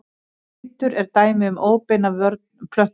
Litur er dæmi um óbeina vörn plöntu.